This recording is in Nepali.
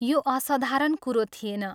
यो असाधारण कुरो थिएन।